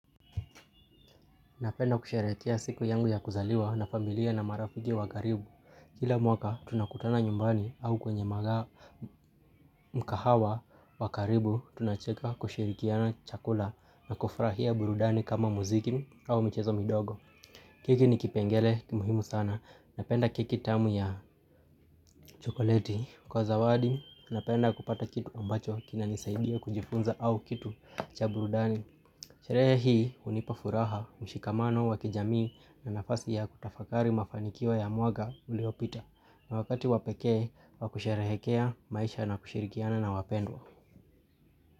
Napenda kusherehekea siku yangu ya kuzaliwa na familia na marafiki wa karibu. Kila mwaka tunakutana nyumbani au kwenye maga mkahawa wa karibu tunacheka kushirikiana chakula na kufurahia burudani kama muziki au mchezo midogo. Keki ni kipengele muhimu sana, napenda keki tamu ya chokoleti kwa zawadi, napenda kupata kitu ambacho kina nisaidia kujifunza au kitu cha burudani. Sherehi unipa furaha, mshikamano, wakijamii na nafasi ya kutafakari mafanikio ya mwaka uliopita na wakati wa pekee wa kusherehekea maisha na kushirikiana na wapendwa.